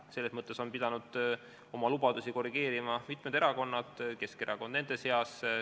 Selles mõttes on pidanud oma lubadusi korrigeerima mitmed erakonnad, Keskerakond nende seas.